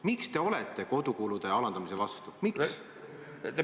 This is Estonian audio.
Miks te olete kodukulude alandamise vastu?